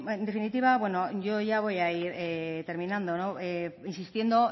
en definitiva bueno yo ya voy a ir terminando insistiendo